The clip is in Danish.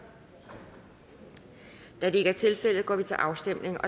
da det ikke er tilfældet går vi til afstemning